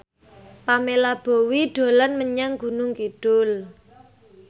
Pamela Bowie dolan menyang Gunung Kidul